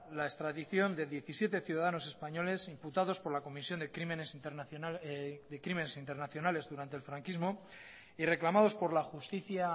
la extradición de diecisiete ciudadanos españoles imputados por la comisión de crímenes internacionales durante el franquismo y reclamados por la justicia